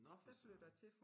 Nå for søren